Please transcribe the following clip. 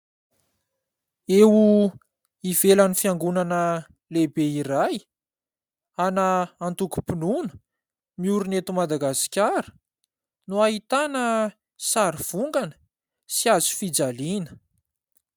Eo ivelan'ny fiangonana lehibe iray ana antokom-pinoana miorina eto Madagasikara no ahitana sary vongana sy hazofijaliana.